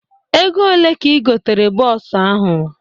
Ego one ka igotere bọọsu ahụ?